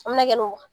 A mɛna kɛ ni